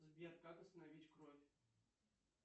сбер как остановить кровь